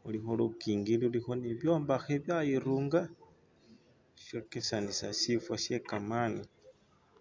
khulikho lukingi lulikho ne bibyombekhe byayirunga! shokesanisa sirimba she kamani.